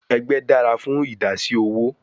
Egbe dara fun idasi owo